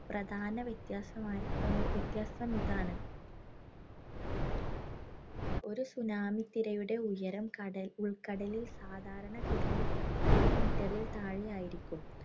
പ്രധാനവ്യത്യാസമായി വ്യത്യാസം ഇതാണ്. ഒരു tsunami ത്തിരയുടെ ഉയരം കടലി ഉൾക്കടലിൽ സാധാരണഗതിയിൽ ഒരു meter ഇൽ താഴെയായിരിക്കും.